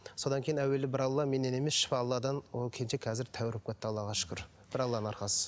содан кейін әуелі бір алла менен емес шипа алладан ол келіншек қазір тәуір болып кетті аллаға шүкір бір алланың арқасы